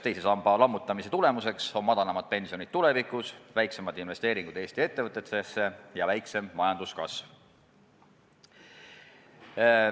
Teise samba lammutamise tagajärg on madalamad pensionid tulevikus, väiksemad investeeringud Eesti ettevõtetesse ja väiksem majanduskasv.